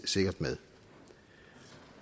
sikkert med